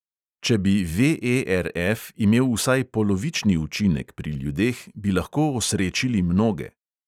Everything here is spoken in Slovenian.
Če bi VERF imel vsaj polovični učinek pri ljudeh, bi lahko osrečili mnoge.